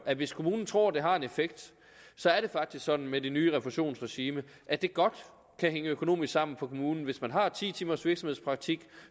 at hvis kommunen tror at det har en effekt så er det faktisk sådan med det nye refusionsregime at det godt kan hænge økonomisk sammen for kommunen hvis man har ti timers virksomhedspraktik